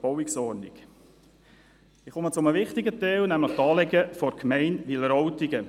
Ich komme zu einem wichtigen Teil, nämlich zu den Anliegen der Gemeinde Wileroltigen.